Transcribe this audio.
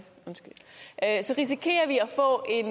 altid